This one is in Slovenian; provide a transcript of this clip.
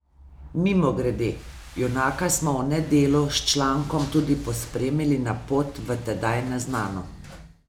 Mimogrede, junaka smo v Nedelu s člankom tudi pospremili na pot v tedaj neznano.